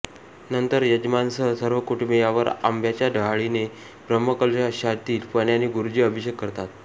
नंतर यजमानासह सर्व कुटूंबीयावर आंब्याच्या डहाळीने ब्रह्मकलशातील पाण्याने गुरूजी अभिषेक करतात